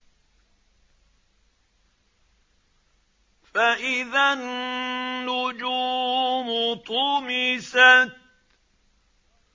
فَإِذَا النُّجُومُ طُمِسَتْ